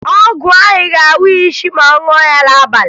Ọgwụ ahụ ga-awa ya isi ma ọ ṅụọ ya n'abalị